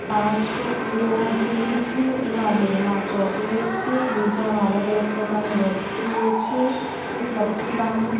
પાંચ ટોપલીઓ મૂકેલી છે એમાં બે માં ચોકલેટ છે બીજામાં અલગ-અલગ પ્રકારની વસ્તુઓ છે એક લકી બામ્બુ --